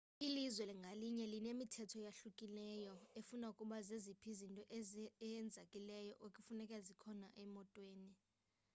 ilizwe ngalinye linemithetho eyahlukileyo efuna ukuba zeziphi izinto ezinyanzelekileyo ekufuneka zikhona emotweni